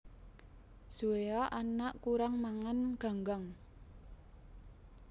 Zoea anak urang mangan ganggang